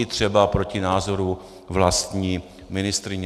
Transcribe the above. I třeba proti názoru vlastní ministryně.